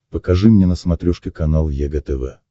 покажи мне на смотрешке канал егэ тв